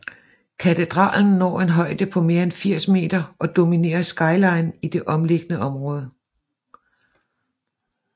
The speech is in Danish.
Katedralen når en højde på mere end 80 meter og dominerer skyline i det omkringliggende område